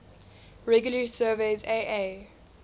regularly surveys aa